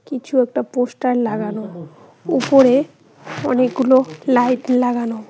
কিছু একটা পোস্টার লাগানো উপরে অনেকগুলো লাইট লাগানো।